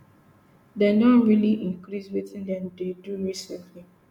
dem don really increase wetin dem dey do recently